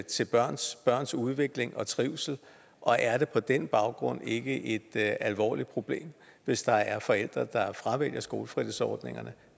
til børns børns udvikling og trivsel og er det på den baggrund ikke et alvorligt problem hvis der er forældre der fravælger skolefritidsordningerne